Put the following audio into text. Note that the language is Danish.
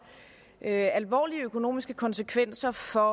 alvorlige økonomiske konsekvenser for